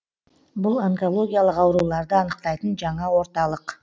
бұл онкологиялық ауруларды анықтайтын жаңа орталық